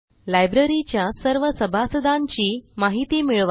लायब्ररीच्या सर्व सभासदांची माहिती मिळवा